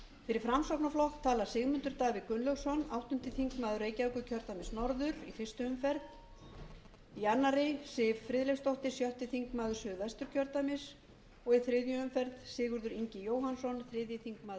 fyrir framsóknarflokk tala sigmundur davíð gunnlaugsson áttundi þingmaður reykjavíkurkjördæmis norður í fyrstu umferð í annarri siv friðleifsdóttir sjötti þingmaður suðvesturkjördæmis og í þriðju umferð sigurður ingi jóhannsson þriðji þingmaður suðurkjördæmis